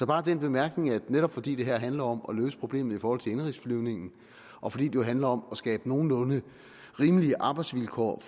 bare den bemærkning at netop fordi det her handler om at løse problemet i forhold til indenrigsflyvningen og fordi jo handler om at skabe nogenlunde rimelige arbejdsvilkår og